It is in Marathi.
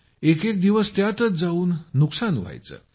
एक एक दिवस त्यातच जाऊन नुकसान व्हायचं